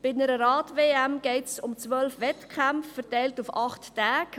Bei einer Rad-WM geht es um 12 Wettkämpfe, verteilt auf acht Tage.